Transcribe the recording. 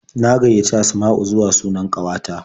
Na gaiyaci Asma'u zuwa sunan ƙanwata.